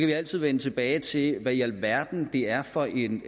vi altid vende tilbage til hvad i alverden det er for en